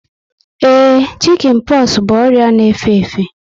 Ee, shikin poxu bụ ọrịa na efe efe